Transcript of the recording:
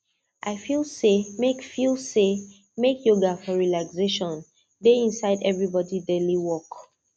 i feel say make feel say make yoga for relaxation dey inside everybody daily work